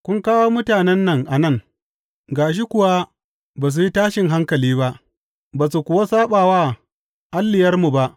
Kun kawo mutanen nan a nan, gashi kuwa ba su yi fashin haikali ba, ba su kuwa saɓa wa alliyarmu ba.